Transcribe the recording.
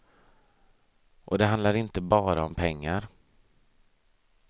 Och det handlar inte bara om pengar.